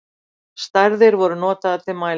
Stærðir voru notaðar til mælinga.